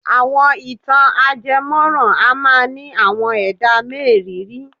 Àwọn ìtàn ajemọ́ran a máa ní àwọn ẹ̀dá mériìírí.